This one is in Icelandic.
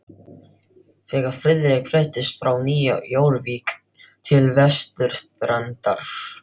Þegar Friðrik fluttist frá Nýju Jórvík til vesturstrandar